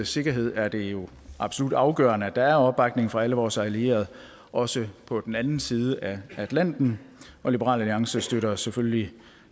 sikkerhed er det jo absolut afgørende at der er opbakning fra alle vores allierede også på den anden side af atlanten og liberal alliance støtter selvfølgelig